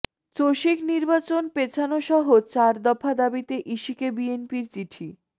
চসিক নির্বাচন পেছানোসহ চার দফা দাবিতে ইসিকে বিএনপির চিঠি